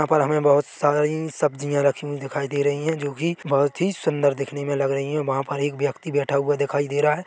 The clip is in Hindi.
यहाँ पर हमें बहुत सारी सब्जियाँ रखी हुई दिखाई दे रही है जोकि बहुत ही सुन्दर दिखने में लग रही है वहाँ पर एक व्यक्ति बैठा हुआ दिखाई दे रहा है ।